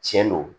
Tiɲɛ don